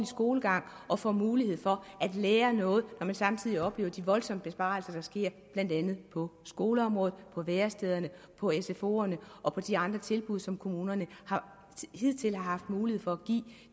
skolegang og får mulighed for at lære noget når man samtidig oplever de voldsomme besparelser der sker blandt andet på skoleområdet på værestederne på sfoerne og på de andre tilbud som kommunerne hidtil har haft mulighed for at give